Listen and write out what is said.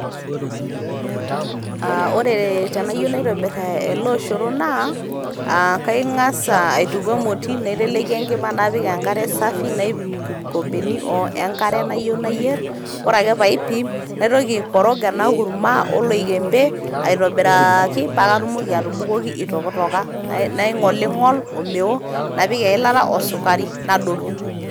Aa ore tenayieu naitobir ele olosho naa ,kangas aituku emoti naiteleki enkima ,napik enkare safi, naipim inkombeni o enkare nayieu nayier . ore ake paipim naitoki aikorog ena kurma oloikembe aitobiraaaki paa katumoki atubukoki itokitoka. naingolingol omeo, napik eilata osukari nadotu.